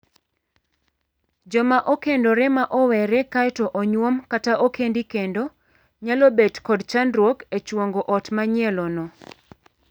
Joma okendore ma owere kaeto onyuom kata okendi kendo nyalo bet kod chandruok e chuongo ot manyielono.